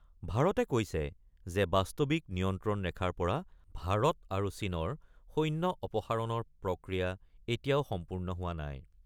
ভাৰতে কৈছে যে বাস্তৱিক নিয়ন্ত্ৰণ ৰেখাৰ পৰা ভাৰত আৰু চীনৰ সৈন্য অপসাৰণৰ প্ৰক্ৰিয়া এতিয়াও সম্পূৰ্ণ হোৱা নাই।